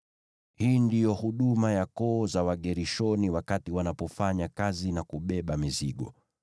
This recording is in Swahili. “Hii ndiyo huduma ya koo za Wagershoni wakati wanapofanya kazi na kubeba mizigo.